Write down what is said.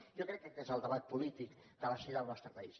jo crec que aquest és el debat polític de la sanitat al nostre país